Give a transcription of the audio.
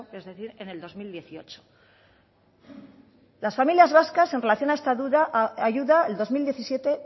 es decir en el dos mil dieciocho las familias vascas en relación a esta ayuda el dos mil diecisiete